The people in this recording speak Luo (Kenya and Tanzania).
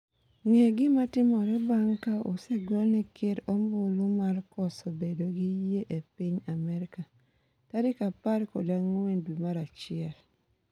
ng'e gima timore bang' ka osegone ker ombulu mar koso bedo gi yie e piny Amerka ? Tarik apar kod ang'wen dwe mar achiel